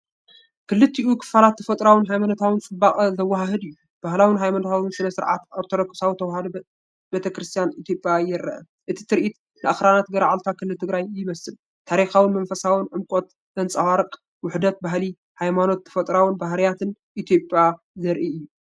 ክልቲኡ ክፋላት ተፈጥሮኣውን ሃይማኖታውን ጽባቐ ዘወሃህድ እዩ። ባህላዊ ሃይማኖታዊ ስነ-ስርዓት ኦርቶዶክሳዊት ተዋህዶ ቤተክርስቲያን ኢትዮጵያ ይርአ። እዚ ትርኢት ንኣኽራናት ገርዓልታ ክልል ትግራይ ይመስል። ታሪኻውን መንፈሳውን ዕምቆት ዘንጸባርቕ ውህደት ባህሊ፡ ሃይማኖትን ተፈጥሮኣዊ ባህርያትን ኢትዮጵያ ዘርእዩ እዮም።